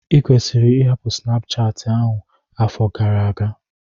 Ikwesịrị ịhapụ Snapuchati ahụ afọ gara aga!